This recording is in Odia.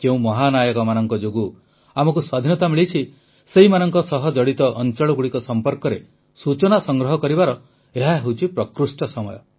ଯେଉଁ ମହାନାୟକମାନଙ୍କ ଯୋଗୁଁ ଆମକୁ ସ୍ୱାଧୀନତା ମିଳିଛି ସେମାନଙ୍କ ସହ ଜଡିତ ଅଂଚଳଗୁଡିକ ସମ୍ପର୍କରେ ସୂଚନା ସଂଗ୍ରହ କରିବାର ଏହା ହେଉଛି ପ୍ରକୃଷ୍ଟ ସମୟ